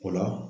O la